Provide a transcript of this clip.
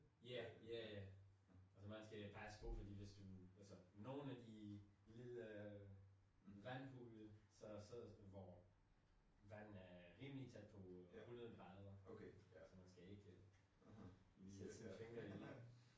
Ja. Ja ja ja. Altså man skal passe på for hvis du altså nogle af de lille vandhullet så så hvor vanden er rimelig tæt på 100 grader så man skal ikke lige sætte sin finger i